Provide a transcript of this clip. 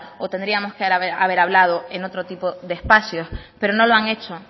o tendríamos que haber hablado en otro tipo de espacios pero no lo han hecho